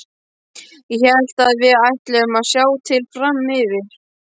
Ég hélt að við ætluðum að sjá til fram yfir.